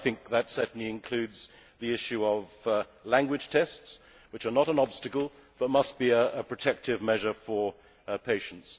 I think that certainly includes the issue of language tests, which are not an obstacle but must be a protective measure for patients.